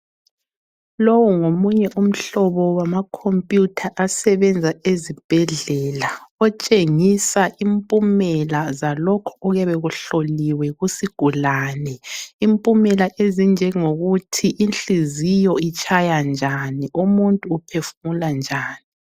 Lowu ngomunye umhlobo wama computer asebenza ezibhedlela. Otshengisa impumela ngalokhu okuyabe kuhloliwe kusigulane. Impumelo ezinjongokuthi inhliziyo itshaya njani, umuntu uphefumula njani.